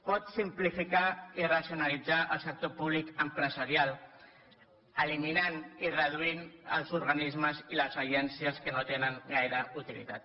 pot simplificar i racionalitzar el sector públic empresarial eliminant i reduint els organismes i les agències que no tenen gaire utilitat